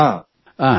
ಹಾಂ